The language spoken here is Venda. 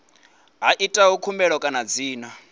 a itaho khumbelo kana dzina